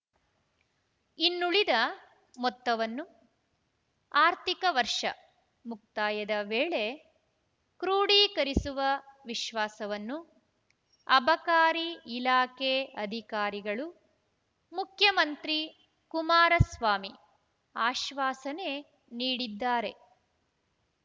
ಇನ್ನುಳಿದ ಮೊತ್ತವನ್ನು ಆರ್ಥಿಕ ವರ್ಷ ಮುಕ್ತಾಯದ ವೇಳೆ ಕ್ರೋಢೀಕರಿಸುವ ವಿಶ್ವಾಸವನ್ನು ಅಬಕಾರಿ ಇಲಾಖೆ ಅಧಿಕಾರಿಗಳು ಮುಖ್ಯಮಂತ್ರಿ ಕುಮಾರಸ್ವಾಮಿ ಆಶ್ವಾಸನೆ ನೀಡಿದ್ದಾರೆ